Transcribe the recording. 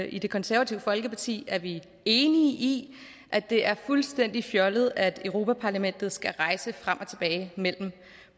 i det konservative folkeparti er vi enige i at det er fuldstændig fjollet at europa parlamentet skal rejse frem og tilbage mellem